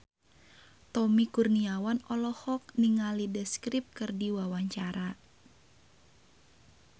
Tommy Kurniawan olohok ningali The Script keur diwawancara